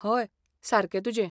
हय, सारकें तुजें.